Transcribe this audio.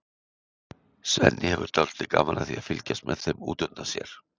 Svenni hefur dálítið gaman af því að fylgjast með þeim út undan sér.